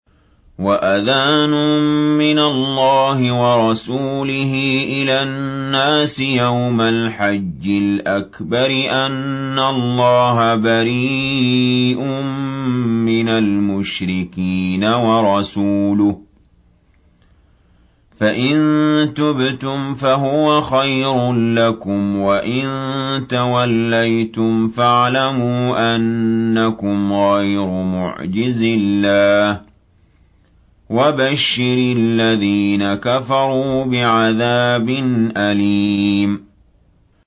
وَأَذَانٌ مِّنَ اللَّهِ وَرَسُولِهِ إِلَى النَّاسِ يَوْمَ الْحَجِّ الْأَكْبَرِ أَنَّ اللَّهَ بَرِيءٌ مِّنَ الْمُشْرِكِينَ ۙ وَرَسُولُهُ ۚ فَإِن تُبْتُمْ فَهُوَ خَيْرٌ لَّكُمْ ۖ وَإِن تَوَلَّيْتُمْ فَاعْلَمُوا أَنَّكُمْ غَيْرُ مُعْجِزِي اللَّهِ ۗ وَبَشِّرِ الَّذِينَ كَفَرُوا بِعَذَابٍ أَلِيمٍ